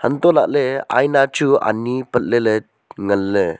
anto lah ley aina chu ani patley ley ngan ley.